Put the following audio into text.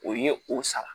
O ye o sara